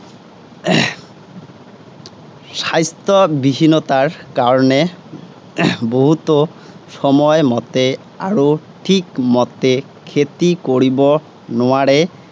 স্বাস্থ্য বিহীনতাৰ কাৰণেও বহুতাে সময় মতে আৰু ঠিক মতে খেতি কৰিব নােৱাৰে।